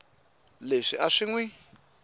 leswi a swi n wi